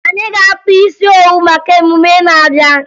Anyị ga-akpa isi owu maka emume na-abịa